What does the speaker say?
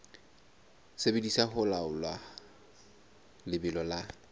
sebediswa ho laola lebelo la